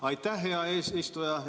Aitäh, hea eesistuja!